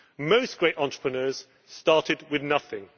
Most great entrepreneurs started with nothing.